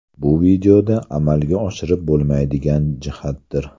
Bu videoda amalga oshirib bo‘lmaydigan jihatdir.